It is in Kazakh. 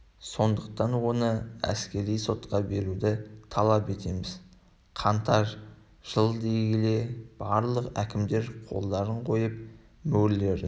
сондықтан оны әскери сотқа беруді талап етеміз қаңтар жыл дей келе барлық әкімдер қолдарын қойып мөрлерін